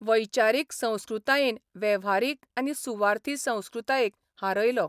वैचारीक संस्कृतायेन वेव्हारीक आनी सुवार्थी संस्कृतायेक हारयलो.